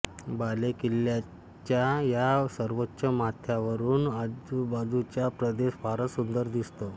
बालेकिल्ल्याच्या या सर्वोच्च माथ्यावरून आजूबाजूचा प्रदेश फारच सुंदर दिसतो